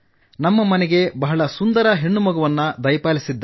ನಮ್ಮ ಮನೆಗೆ ಬಹಳ ಸುಂದರ ಹೆಣ್ಣುಮಗುವನ್ನು ದಯಪಾಲಿಸಿದ್ದ